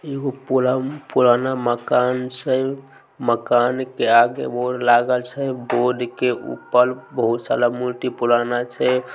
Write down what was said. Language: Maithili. एगो पु-पुराना मकान छै मकान के आगे बोर्ड लागल छै बोर्ड के ऊपर बहुत सारा मूर्ति पुराना छै।